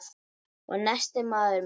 Og nestið, maður minn!